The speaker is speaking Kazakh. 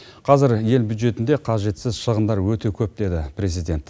қазір ел бюджетінде қажетсіз шығындар өте көп деді президент